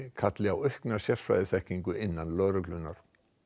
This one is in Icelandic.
kalli á aukna sérfræðiþekkingu innan lögreglunnar